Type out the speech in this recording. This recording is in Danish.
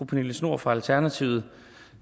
pernille schnoor fra alternativet